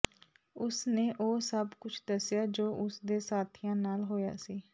ਉਸ ਨੇ ਉਹ ਸਭ ਕੁਝ ਦੱਸਿਆ ਜੋ ਉਸ ਦੇ ਸਾਥੀਆਂ ਨਾਲ ਹੋਇਆ ਸੀ